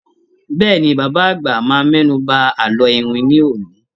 Bẹ́ẹ̀ni, Bàbá àgbà máa mẹ́nu ba àlọ́ iwin ní òní.